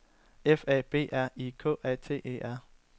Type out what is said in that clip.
F A B R I K A T E R